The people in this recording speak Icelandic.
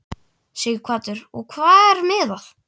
Sighvatur: Og við hvað er miðað?